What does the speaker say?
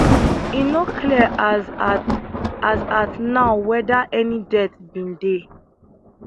e no clear as at as at now weda any death bin dey